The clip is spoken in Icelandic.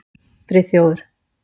Friðþjófur